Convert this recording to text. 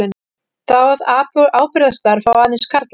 Það ábyrgðarstarf fá aðeins karlar.